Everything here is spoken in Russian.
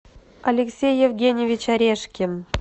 алексей евгеньевич орешкин